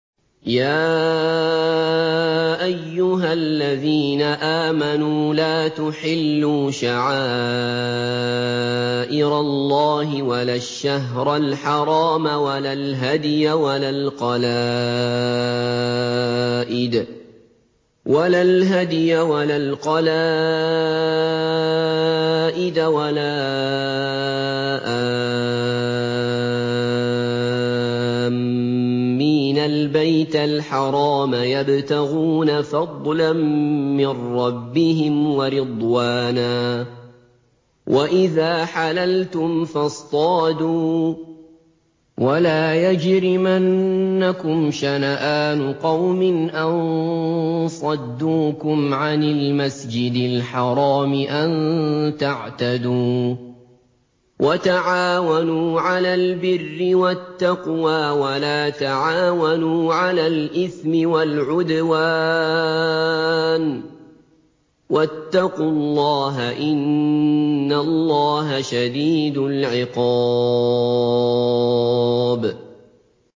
يَا أَيُّهَا الَّذِينَ آمَنُوا لَا تُحِلُّوا شَعَائِرَ اللَّهِ وَلَا الشَّهْرَ الْحَرَامَ وَلَا الْهَدْيَ وَلَا الْقَلَائِدَ وَلَا آمِّينَ الْبَيْتَ الْحَرَامَ يَبْتَغُونَ فَضْلًا مِّن رَّبِّهِمْ وَرِضْوَانًا ۚ وَإِذَا حَلَلْتُمْ فَاصْطَادُوا ۚ وَلَا يَجْرِمَنَّكُمْ شَنَآنُ قَوْمٍ أَن صَدُّوكُمْ عَنِ الْمَسْجِدِ الْحَرَامِ أَن تَعْتَدُوا ۘ وَتَعَاوَنُوا عَلَى الْبِرِّ وَالتَّقْوَىٰ ۖ وَلَا تَعَاوَنُوا عَلَى الْإِثْمِ وَالْعُدْوَانِ ۚ وَاتَّقُوا اللَّهَ ۖ إِنَّ اللَّهَ شَدِيدُ الْعِقَابِ